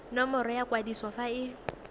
nomoro ya kwadiso fa e